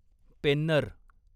Penner